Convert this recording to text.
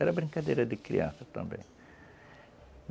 Era brincadeira de criança também.